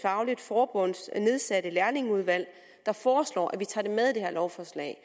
forbunds nedsatte lærlingeudvalg der foreslår at vi tager det med i det her lovforslag